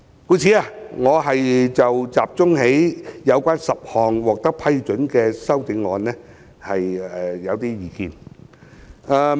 故此，我會集中有關10項獲得批准的修正案發表意見。